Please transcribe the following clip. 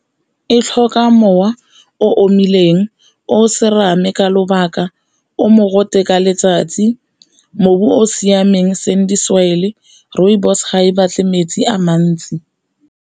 E tlhoka mowa o omileng, o serame ka lobaka, o mogote ka letsatsi, o o siameng sandy soil, rooibos ga e batle metsi a mantsi.